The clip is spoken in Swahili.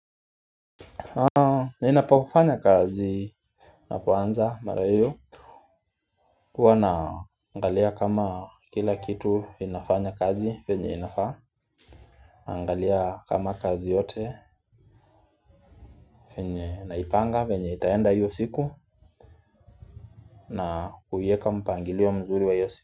Ninapofanya kazi napoanza mara hiyo huwa naangalia kama kila kitu inafanya kazi venye inafaa. Naangalia kama kazi yote venye naipanga venye itaenda hiyo siku na kuieka mpangilio mzuri wa hiyo siku.